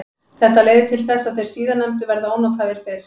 Þetta leiðir til þess að þeir síðarnefndu verða ónothæfir fyrr.